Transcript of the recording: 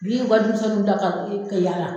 Wi ka denmisɛnninw bila ka yala.